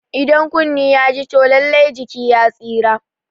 Idan kunne ya ji toh lallai jiki ya tsira